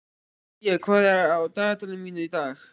Sía, hvað er á dagatalinu mínu í dag?